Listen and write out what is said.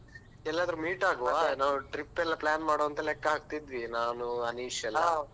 ಎಲ್ಲಾದ್ರೂ meet ಆಗುವ ನಾವ್ trip ಎಲ್ಲಾ plan ಮಾಡುವ ಅಂತ ಲೆಕ್ಕಹಾಕಿದ್ವಿ ನಾನು ಅನಿಶ್ ಎಲ್ಲಾ